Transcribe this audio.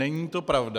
Není to pravda.